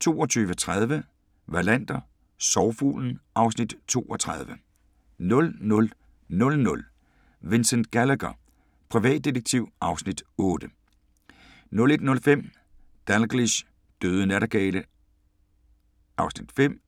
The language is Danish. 22:30: Wallander: Sorgfuglen (Afs. 32) 00:00: Vincent Gallagher, privatdetektiv (Afs. 8) 01:05: Dalgliesh: Døde nattergale (5:5)